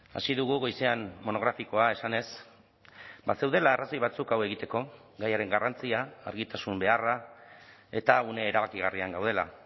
hasi dugu goizean monografikoa esanez bazeudela arrazoi batzuk hau egiteko gaiaren garrantzia argitasun beharra eta une erabakigarrian gaudela